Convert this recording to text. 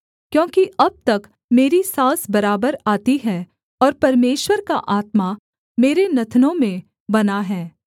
क्योंकि अब तक मेरी साँस बराबर आती है और परमेश्वर का आत्मा मेरे नथुनों में बना है